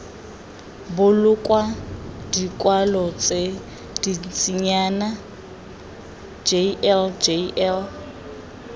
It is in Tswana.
boloka dikwalo tse dintsinyana jljl